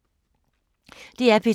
DR P2